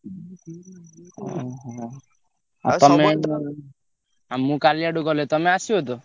ଓହୋ! ଆଉ ମୁଁ କାଲିଆଡକୁ ଗଲେ ତମେ ଆସିବ ତ?